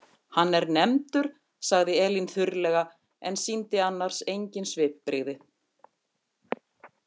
Hann er nefndur, sagði Elín þurrlega en sýndi annars engin svipbrigði.